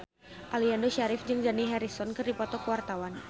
Aliando Syarif jeung Dani Harrison keur dipoto ku wartawan